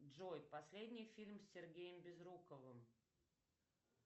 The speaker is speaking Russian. джой последний фильм с сергеем безруковым